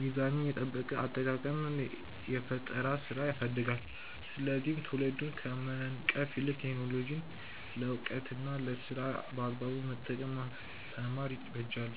ሚዛኑን የጠበቀ አጠቃቀም የፈጠራ ስራን ያሳድጋል፤ ስለዚህ ትውልዱን ከመንቀፍ ይልቅ ቴክኖሎጂን ለዕውቀትና ለስራ በአግባቡ መጠቀምን ማስተማር ይበጃል።